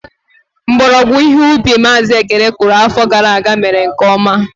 Mgbọrọgwụ ihe ubi Mazi Ekene kụrụ afọ gara aga mere nke ọma.